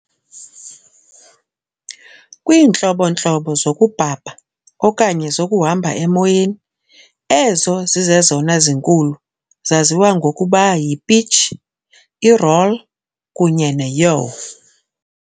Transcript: Kwiintlobo-ntlobo zokubhabha, okanye zokuhamba emoyeni, ezo zizezona zinkulu zaziwa ngokuba ziyi-p"itch", i-"roll" kunye ne-"yaw".